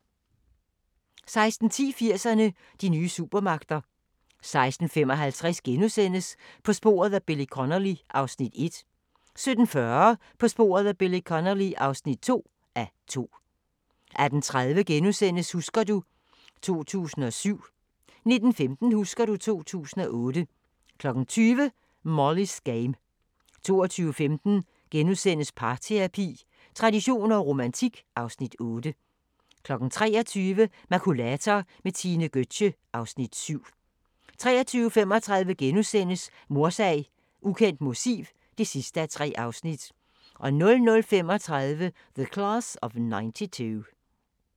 16:10: 80'erne: De nye supermagter 16:55: På sporet af Billy Connolly (1:2)* 17:40: På sporet af Billy Connolly (2:2) 18:30: Husker du ... 2007 * 19:15: Husker du ... 2008 20:00: Molly's Game 22:15: Parterapi – traditioner og romantik (Afs. 8)* 23:00: Makulator med Tine Gøtzsche (Afs. 7) 23:35: Mordsag: Ukendt motiv (3:3)* 00:35: The Class of 92